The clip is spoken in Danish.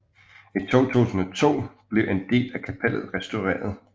I 2002 blev en del af kapellet restaureret